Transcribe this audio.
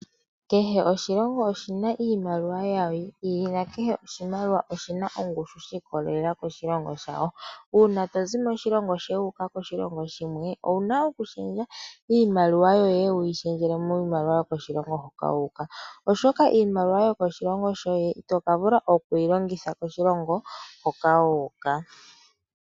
Kehe oshilongo oshina iimaliwa yayo yi ili nakehe oshimaliwa oshina ongushu yasho yi ikolelela koshilongo shayo. Uuna tozi moshilongo shoye wu uka moshilongo shimwe, owuna oku shendja iimaliwa yoye, wuyi shendjele miimaliwa yokoshilongo hoka wu uka, oshoka iimaliwa yomoshilongo shoye ito ka vula oku yi longitha koshilongo hoka wu uka.